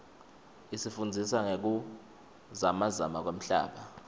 isifundzisa ngekuzamazama kwemhlaba